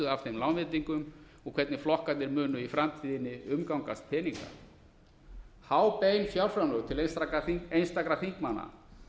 af þeim lánveitingum og hvernig flokkarnir munu í framtíðinni umgangast peninga há bein fjárframlög til einstakra þingmanna